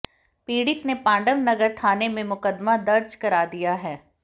पीड़ित ने पांडव नगर थाने में मुकदमा दर्ज करा दिया है